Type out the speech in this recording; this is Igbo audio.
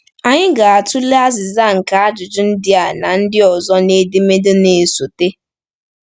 Anyị ga-atụle azịza nke ajụjụ ndị a na ndị ọzọ n’edemede na-esote.